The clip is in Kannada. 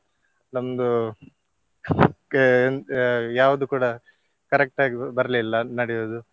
ನಮ್ದು ಅಹ್ ಅಹ್ ಯಾವ್ದು ಕೂಡ correct ಆಗಿ ಬರ್ಲಿಲ್ಲ ನಡಿಯುವುದು.